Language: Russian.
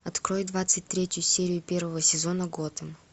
открой двадцать третью серию первого сезона готэм